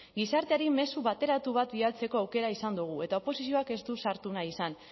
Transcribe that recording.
gizarteari mezu bateratu bat bidaltzeko aukera izan dugu eta oposizioak ez du sartu nahi izan